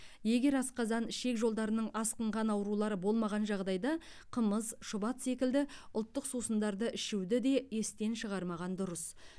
егер асқазан ішек жолдарының асқынған аурулары болмаған жағдайда қымыз шұбат секілді ұлттық сусындарды ішуді де естен шығармаған дұрыс